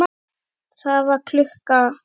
Það var klukka.